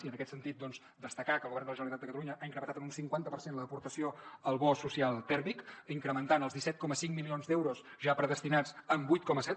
i en aquest sentit doncs destacar que el govern de la generalitat de catalunya ha incrementat en un cinquanta per cent l’aportació al bo social tèrmic incrementant els disset coma cinc milions d’euros ja predestinats en vuit coma set